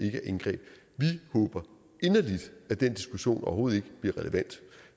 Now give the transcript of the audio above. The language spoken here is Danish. ikke indgreb vi håber inderligt at den diskussion overhovedet ikke bliver relevant